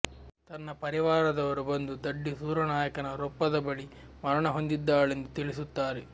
ತನ್ನ ಪರಿವಾರದವರು ಬಂದು ದಡ್ಡಿಸೂರನಾಯಕನ ರೊಪ್ಪದ ಬಳಿ ಮರಣ ಹೊಂದಿದ್ದಾಳೆಂದು ತಿಳಿಸುತ್ತಾರೆ